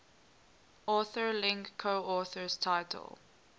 authorlink coauthors title